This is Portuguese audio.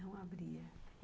Não abria...